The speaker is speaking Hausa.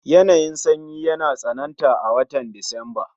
Yanayin sanyi yana tsananta a watan Disamba